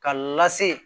K'a lase